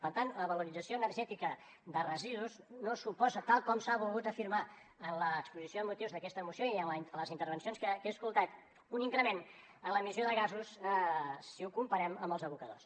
per tant la valorització energètica de residus no suposa tal com s’ha volgut afirmar en l’exposició de motius d’aquesta moció i en les intervencions que he escoltat un increment en l’emissió de gasos si ho comparem amb els abocadors